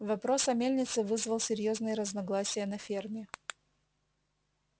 вопрос о мельнице вызвал серьёзные разногласия на ферме